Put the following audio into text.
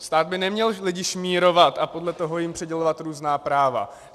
Stát by neměl lidi šmírovat a podle toho jim přidělovat různá práva.